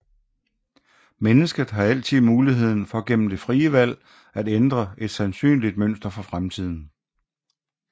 Mennesket har altid muligheden for gennem det frie valg at ændre et sandsynligt mønster for fremtiden